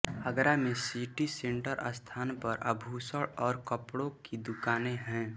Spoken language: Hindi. आगरा में सिटी सेंटर स्थान पर आभूषण और कपड़ों की दुकानें हैं